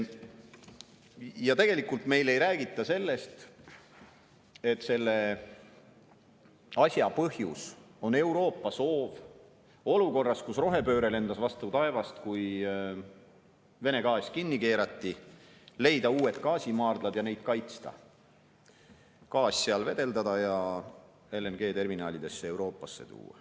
Ja tegelikult meile ei räägita sellest, et selle asja põhjus on Euroopa soov olukorras, kus rohepööre lendas vastu taevast, kui Vene gaas kinni keerati, leida uued gaasimaardlad ja neid kaitsta, gaas seal vedeldada ja Euroopasse LNG-terminalidesse tuua.